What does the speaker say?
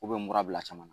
K'u bɛ mura bila caman na